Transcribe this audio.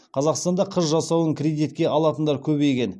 қазақстанда қыз жасауын кредитке алатындар көбейген